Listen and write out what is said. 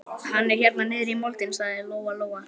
Hann er hérna niðri í moldinni, sagði Lóa Lóa.